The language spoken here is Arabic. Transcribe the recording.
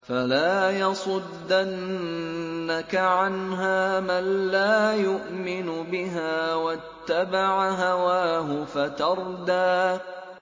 فَلَا يَصُدَّنَّكَ عَنْهَا مَن لَّا يُؤْمِنُ بِهَا وَاتَّبَعَ هَوَاهُ فَتَرْدَىٰ